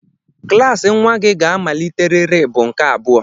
Klaasị nnwa gị ga-amaliterịrị bụ nke abụọ!